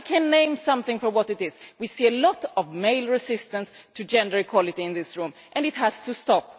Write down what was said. I can name something for what it is we see a lot of male resistance to gender equality in this room, and it has to stop.